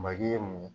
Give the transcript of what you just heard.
Maki ye mun ye